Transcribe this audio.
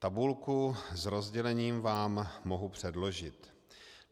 Tabulku s rozdělením vám mohu předložit.